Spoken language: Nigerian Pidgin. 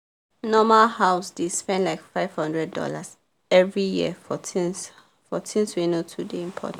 normal house dey spend like five hundred dollarsevery year for things for things wey no too dey important